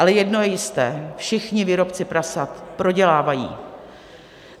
Ale jedno je jisté, všichni výrobci prasat prodělávají.